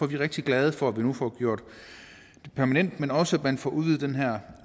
vi rigtig glade for at vi nu får gjort det permanent men også at man får udvidet det her